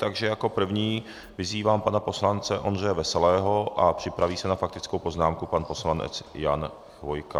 Takže jako prvního vyzývám pana poslance Ondřeje Veselého a připraví se na faktickou poznámku pan poslanec Jan Chvojka.